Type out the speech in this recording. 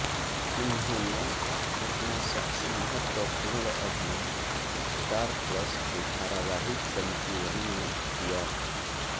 उन्होंने अपना सबसे महत्वपूर्ण अभिनय स्टार प्लस के धारावाहिक संजीवनी में किया